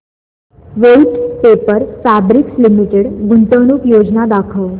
Voith paper fabrics limited गुंतवणूक योजना दाखव